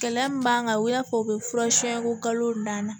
Gɛlɛya min b'an kan u y'a fɔ u bɛ furasɛn ko kalo danna